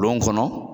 Lon kɔnɔ